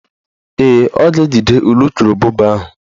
Ee, ọ ga-ejide ulukurububa ahụ